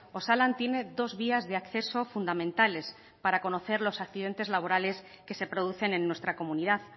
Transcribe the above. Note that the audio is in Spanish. osalan tiene dos vías de acceso fundamentales para conocer los accidentes laborales que se producen en nuestra comunidad